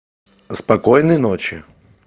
спокойной ночи